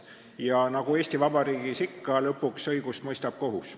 Ja nagu Eesti Vabariigis ikka, lõpuks mõistab õigust kohus.